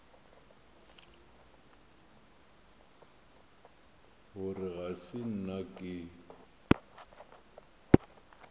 gore ga se nna ke